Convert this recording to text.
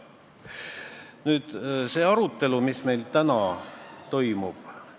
Nüüd sellest arutelust, mis meil täna toimub.